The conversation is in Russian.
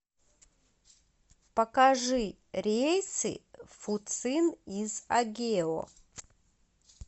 покажи рейсы в фуцин из агео